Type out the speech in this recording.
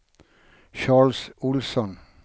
Charles Ohlsson